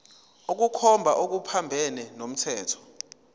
ukukhomba okuphambene nomthetho